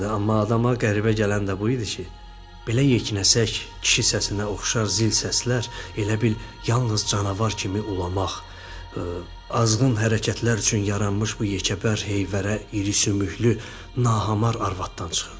Amma adama qəribə gələn də bu idi ki, belə yekəpərsək, kişi səsinə oxşar zil səslər, elə bil yalnız canavar kimi ulamaq, azğın hərəkətlər üçün yaranmış bu yekəpər, heyvərə, iri sümüklü nahamar arvadımdan çıxırdı.